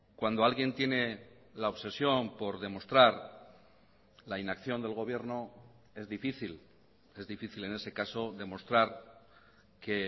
cuando alguien tiene la obsesión por demostrar la inacción del gobierno es difícil es difícil en ese caso demostrar que